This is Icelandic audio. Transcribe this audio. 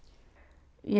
ég